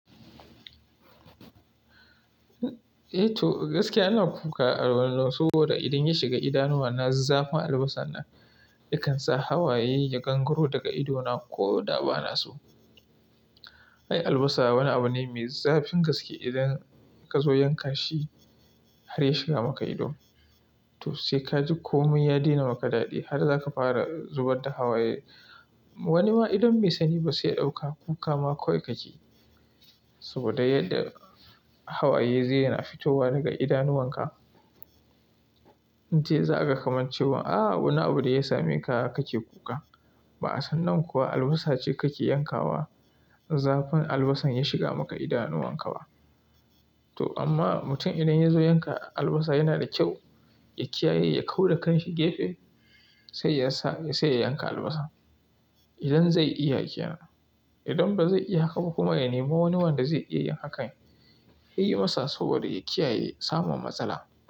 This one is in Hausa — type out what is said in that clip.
Eh to gaskiya ina kuka a wannan saboda idan ya shiga idanuwana zafin albasar nan yakan sa hawaye ya kankaro daga ido na ko da ba na so. Ai albasa wani abu ne mai zafin gaske idan ka zo yankashi har ya shiga maka ido to sai kaji komai ya daina maka daɗi har zaka fara zubar da hawaye. Wani ma idon mai sani ba sai ɗauka kuka ma kawai kake, saboda yadda hawaye zai na fitowa daga idanuwan ka. An ce za a ga kaman cewa a wani abu da ya same ka kake kuka. Ba'a san nan kuwa albasa ce kake yankawa, zafin albasan ya shiga maka idanuwan ka ba. To amma mutum idan ya zo yanka albasa yana da kyau ya kiyaye ya kau da kan shi gefe sai yasa, sai ya yanka albasa. Idan zai iya kenan, idan ba zai iya haka ba kuma ya nemi wani wanda zai iya yin hakan, ya yi masa saboda ya kiyaye samun matsala.